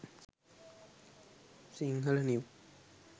sinhala new